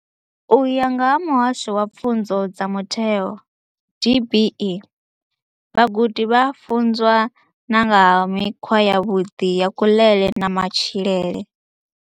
U ya nga vha Muhasho wa Pfunzo dza Mutheo DBE, vhagudi vha a funzwa na nga ha mikhwa yavhuḓi ya kuḽele na matshilele.